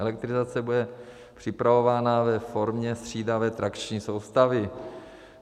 Elektrizace bude připravována ve formě střídavé trakční soustavy.